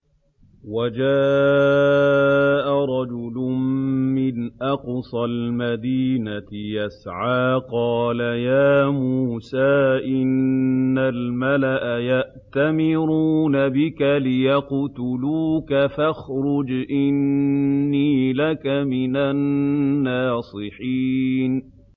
وَجَاءَ رَجُلٌ مِّنْ أَقْصَى الْمَدِينَةِ يَسْعَىٰ قَالَ يَا مُوسَىٰ إِنَّ الْمَلَأَ يَأْتَمِرُونَ بِكَ لِيَقْتُلُوكَ فَاخْرُجْ إِنِّي لَكَ مِنَ النَّاصِحِينَ